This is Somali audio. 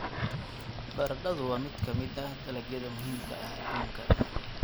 Baradhadu waa mid ka mid ah dalagyada muhiimka ah adduunka.